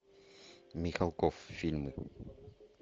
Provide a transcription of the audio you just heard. михалков фильмы